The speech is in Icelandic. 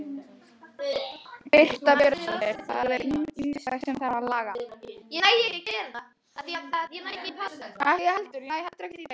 Birta Björnsdóttir: Það er ýmislegt sem þarf að laga?